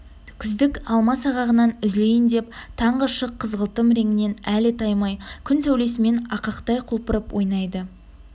күздік алма сағағынан үзілейін деп таңғы шық қызғылтым реңінен әлі таймай күн сәулесімен ақықтай құлпырып ойнайды